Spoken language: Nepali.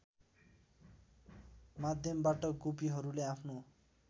माध्यमबाट गोपीहरूले आफ्नो